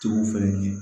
Cogow fɛnɛ kɛ